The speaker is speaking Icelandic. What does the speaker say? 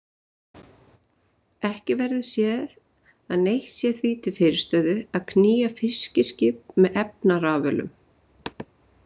Ekki verður séð að neitt sé því til fyrirstöðu að knýja fiskiskip með efnarafölum.